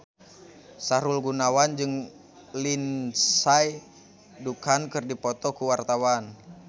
Sahrul Gunawan jeung Lindsay Ducan keur dipoto ku wartawan